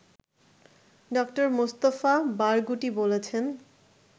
ড: Mustafa Barghouti বলেছেন